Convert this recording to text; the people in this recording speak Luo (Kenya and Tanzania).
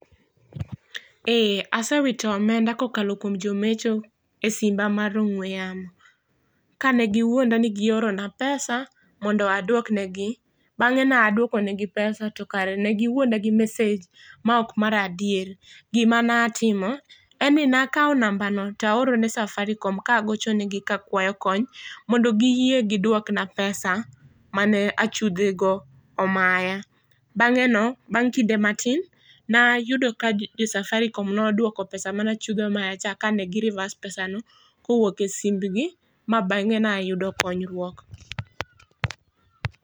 Eeeh asewito omenda kokalo kuom jomecho e simba mar ongwe yamo kane giwuonda ni gioro na pesa mondo aduok negi ,bange ne aduokonegi pesa tokare ne giwuonda gi meseg maok mar adier. Gima ne atimo en ni ne akaw nambano to aoro ne Safaricom kagochonegi ka akwayo kony mondo giyie giduok na pesa mane achudhe go omaya, bange no bang kinde matin en ayudo ka jo Safaricom noduoko pesa mane achudhe omaya cha kane gi reverse pesano kowuok e simbgi ma bange ne ayudo konyruok